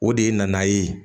O de ye na ye